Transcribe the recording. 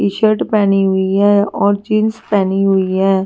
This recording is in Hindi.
टी-शर्ट पहनी हुई है और जींस पहनी हुई है।